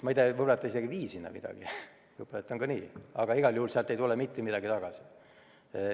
Ma ei tea, võib-olla ta isegi ei vii sinna midagi, võib-olla on ka nii, aga igal juhul ei tule sealt mitte midagi tagasi.